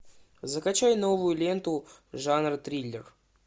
закачай новую ленту жанра триллер